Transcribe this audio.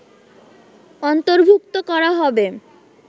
অন্তর্ভুক্ত করা হবে